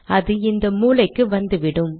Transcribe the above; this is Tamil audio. அது இந்த மூலைக்கு வந்துவிடும்